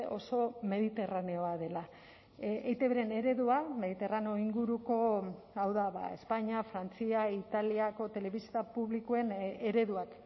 oso mediterraneoa dela eitbren eredua mediterraneo inguruko hau da espainia frantzia italiako telebista publikoen ereduak